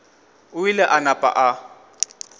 o ile a napa a